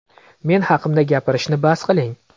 Men haqimda gapirishni bas qiling.